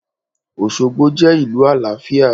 Osogbo je ìlú àlàáfíà